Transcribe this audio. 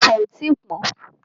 Ọsàn ò tí pọ́n.